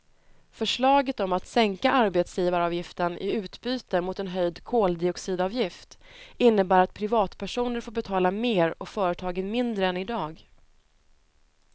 Förslaget om att sänka arbetsgivaravgiften i utbyte mot en höjd koldioxidavgift innebär att privatpersoner får betala mer och företagen mindre än idag.